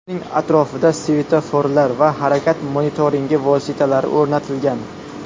Uning atrofida svetoforlar va harakat monitoringi vositalari o‘rnatilgan.